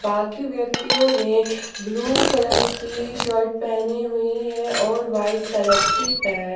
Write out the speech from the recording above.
बाकी व्यक्तियों ने ब्लू कलर की शर्ट पहनी हुई है और वाइट कलर की पैंट --